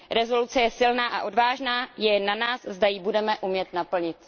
Rezoluce je silná a odvážná, je na nás, zda ji budeme umět naplnit.